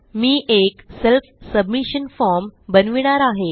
मी एक self submission form बनविणार आहे